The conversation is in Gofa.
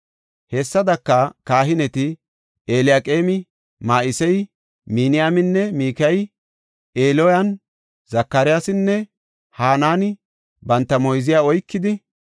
Hessadaka, kahineti Eliyaqeemi, Ma7iseyi, Miniyamini, Mikayey, Eliyo7ani, Zakaryaasinne Hanaani banta moyziya oykidi,